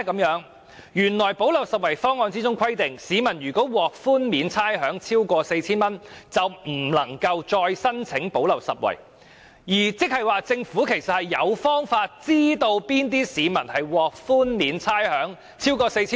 原來"補漏拾遺"方案規定，市民獲差餉寬免超過 4,000 元，便不能獲"派錢"，這即是說，政府其實有方法知悉那些市民是否獲豁免差餉超過 4,000 元。